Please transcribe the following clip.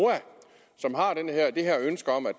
som har det her ønske om at